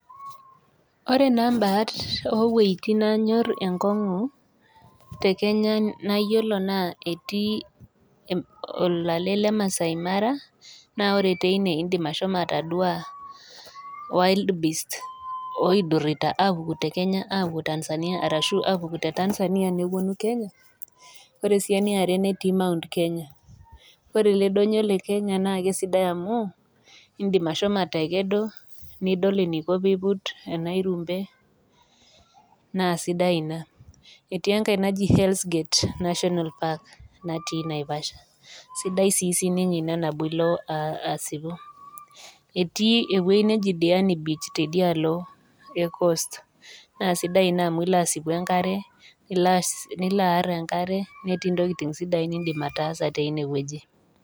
Ore naa mbaat o wuetin naanyor enkong'u te Kenya nayiolo naa etii olale le Maasai mara, naa ore teine indim ashomo atadua Wildbeast oidirita te Kenya aapuo Tanzania, ashu aapuku te Tanzania nepuonu Kenya. Ore sii ene are netii Mt Kenya ore ele donyo le Kenya naake sidai amu, indim ashomo atakedo, nidol eneiko pee eiput enairumbe, naa sidai Ina. Etii enkai naji, Hell's gate national park natii Naivasha, sidai sii sininye Ina nabo ilo aasipu. Etii ewueji naji Diani beach teidialo e Coast naa sidai Ina amu ilo aasipu enkare, nilo aar enkare netii intokitin sidain niindim ataasa teine wueji.